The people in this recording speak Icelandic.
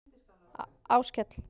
Áskell